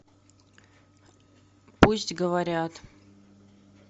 пусть говорят